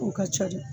O ka ca de